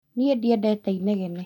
Niĩ ndiendete inegene